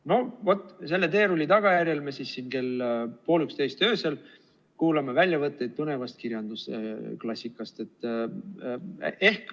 No vaat selle teerulli tagajärjel me siin kell pool üksteist öösel kuulame väljavõtteid põnevast kirjandusklassikast.